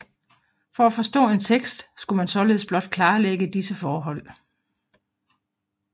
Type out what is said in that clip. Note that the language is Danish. For at forstå en tekst skulle man således blot klarlægge de disse forhold